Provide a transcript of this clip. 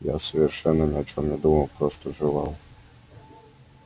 я совершенно ни о чем не думал просто жевал